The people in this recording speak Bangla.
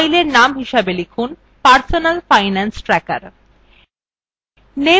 fileএর নামটি লিখুনpersonal finance tracker